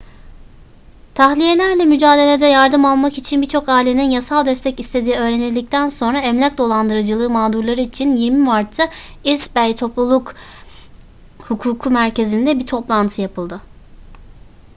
tahliyelerle mücadelede yardım almak için birçok ailenin yasal destek istediği öğrenildikten sonra emlak dolandırıcılığı mağdurları için 20 mart'ta east bay topluluk hukuku merkezinde bir toplantı yapıldı